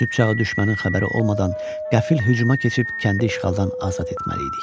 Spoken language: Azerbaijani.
Sübh çağı düşmənin xəbəri olmadan qəfil hücuma keçib kəndi işğaldan azad etməliydik.